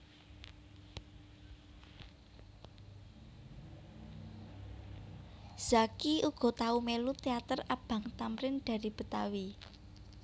Zacky uga tau mélu teater Abang Thamrin Dari Betawi